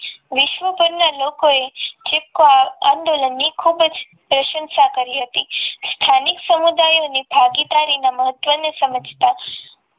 વિશ્વભરના લોકોએ ચિપકો આંદોલન ની ખૂબ જ પ્રશંસા કરી હતી સ્થાનિક સમુદાયો અને ભાગીદારી ના મહત્વને સમજતા